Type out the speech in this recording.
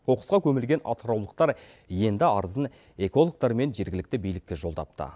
қоқысқа көмілген атыраулықтар енді арызын экологтар мен жергілікті билікке жолдапты